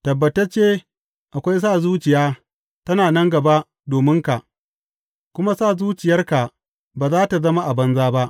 Tabbatacce akwai sa zuciya ta nan gaba dominka, kuma sa zuciyarka ba za tă zama a banza ba.